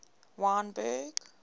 wynberg